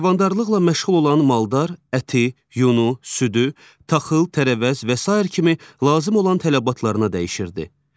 Heyvandarlıqla məşğul olan maldar əti, yunu, südü, taxıl, tərəvəz və sair kimi lazım olan tələbatlarına dəyişirdi.